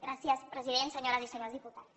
gràcies president senyores i senyors diputats